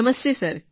Namaste sir